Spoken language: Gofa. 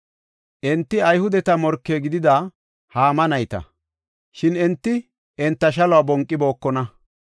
Enti Ayhudeta morke gidida Haama nayta. Shin enti enta shaluwa bonqibookona.